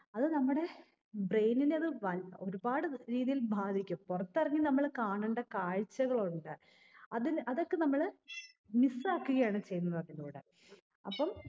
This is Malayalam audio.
അത് നമ്മുടെ brain നെ അത് വൽ ഒരുപാട് രീതിയിൽ ബാധിക്കും പൊറത്തെറങ്ങി നമ്മള് കാണേണ്ട കാഴ്ചകഉണ്ട് അതില് അതൊക്കെ നമ്മള് miss ആക്കുകയാണ് ചെയ്യുന്നത് അതിലൂടെ അപ്പം